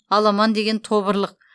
аламан деген тобырлық